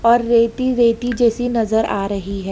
और रेती रेती जैसी नजर आ रही है।